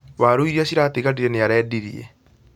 Waaru iria ciratigarire nĩarendirie